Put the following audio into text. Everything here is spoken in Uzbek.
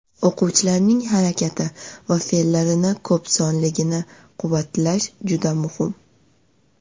O‘quvchilarning harakati va fe’llarini ko‘p sonligini quvvatlash juda muhim.